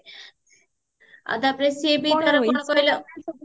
ଆଉ ତାପରେ